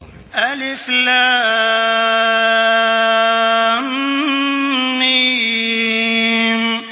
الم